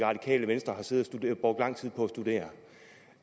radikale venstre har brugt lang tid på